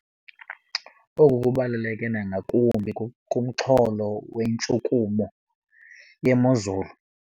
Oku kubaluleke nangakumbi kumxholo wentshukumo yemozulu.